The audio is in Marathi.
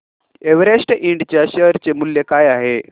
एव्हरेस्ट इंड च्या शेअर चे मूल्य काय आहे